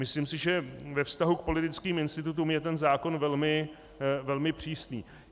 Myslím si, že ve vztahu k politickým institutům je ten zákon velmi přísný.